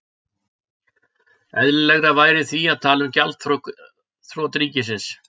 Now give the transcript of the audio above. Eðlilegra væri því að tala um gjaldþrot ríkis.